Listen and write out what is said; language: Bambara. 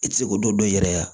I tɛ se k'o dɔ dɔn i yɛrɛ ye